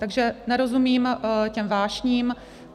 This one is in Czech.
Takže nerozumím těm vášním.